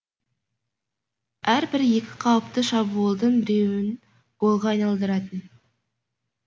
әрбір екі қауіпті шабуылдың біреуін голға айналдыратын